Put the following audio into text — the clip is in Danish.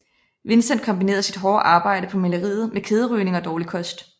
Vincent kombinerede sit hårde arbejde på maleriet med kæderygning og dårlig kost